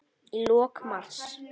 Í lok mars